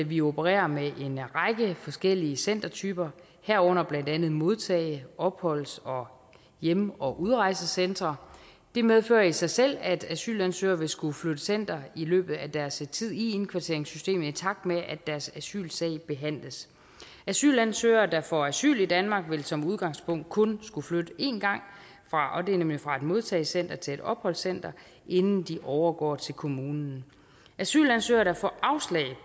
vi opererer med en række forskellige centertyper herunder blandt andet modtage opholds og hjem og udrejsecentre det medfører i sig selv at asylansøgere vil skulle flytte center i løbet af deres tid i indkvarteringssystemet i takt med at deres asylsag behandles asylansøgere der får asyl i danmark vil som udgangspunkt kun skulle flytte en gang nemlig fra et modtagecenter til et opholdscenter inden de overgår til en kommune asylansøgere der får afslag